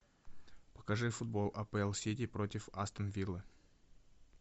покажи футбол апл сити против астон виллы